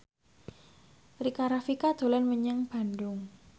Rika Rafika dolan menyang Bandung